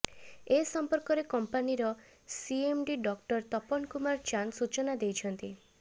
ଏ ସମ୍ପର୍କରେ କଂପାନିର CMD doctor Tapan Kumar Chand ସୂଚନା ଦେଇଛନ୍ତି